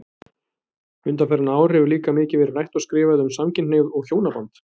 Undanfarin ár hefur líka mikið verið rætt og skrifað um samkynhneigð og hjónaband.